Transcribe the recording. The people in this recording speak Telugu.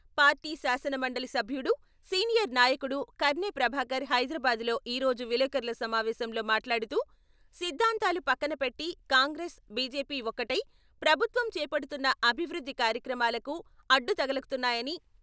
పార్టీ శాసనమండలి సభ్యుడు, సీనియర్ నాయకుడు కర్నె ప్రభాకర్ హైదరాబాదులో ఈ రోజు విలేకరుల సమావేశంలో మాట్లాడుతూ, సిద్ధాంతాలు పక్కన పెట్టి కాంగ్రెసు, బిజెపి ఒక్కటై, ప్రభుత్వం చేపడుతున్న అభివృద్ధి కార్యక్రమాలకు అడ్డు తగులుతున్నాయని.